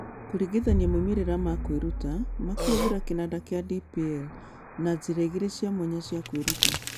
Kũringithania moimĩrĩro ma kwĩruta ma kũhũthĩra kĩnanda kĩa DPL na njĩra igĩrĩ cia mwanya cia kwĩruta.